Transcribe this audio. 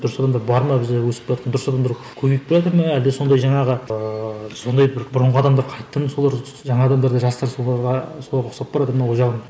дұрыс адамдар бар ма бізде өсіп келатқан дұрыс адамдар көбейіп келатыр ма әлде сондай жаңағы ыыы сондай бір бұрынғы адамдар қайтадан солар жаңа адамдар да жастар соларға соларға ұқсап баратыр ма ол жағын